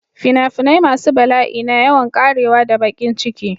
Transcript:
Finafinai masu bala'i na yawan ƙarewa da baƙin ciki.